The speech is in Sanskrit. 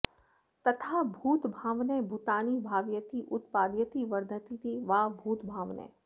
तथा भूतभावनः भूतानि भावयति उत्पादयति वर्धयतीति वा भूतभावनः